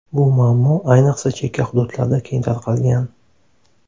Bu muammo ayniqsa chekka hududlarda keng tarqalgan.